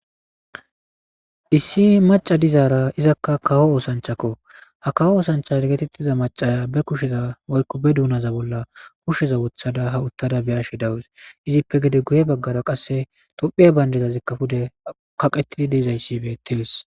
Issi maca dizaara izakka kawo oosanchakko ha kaho oosancha regetettiza macaya be kusheza woykko be duunaza bolla kusheza wothada ha uttada beyashe dawus izippe gede guye baggara qasse tophiya bayndezazikkafude kaqetidi diizayssibe tirs.